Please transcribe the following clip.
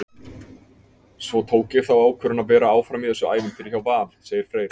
Svo tók ég þá ákvörðun að vera áfram í þessu ævintýri hjá Val, segir Freyr.